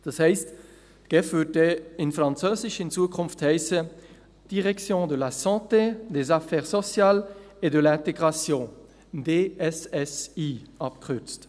Das heisst, die GEF würde in Zukunft auf Französisch «Direction de la santé, des affaires sociales et de l’intégration (DSSI)» heissen.